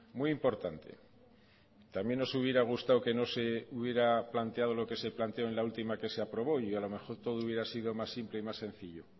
muy importante también nos hubiera gustado que no se hubiera planteado lo que se planteó en la última que se aprobó y a lo mejor todo hubiera sido más simple y más sencillo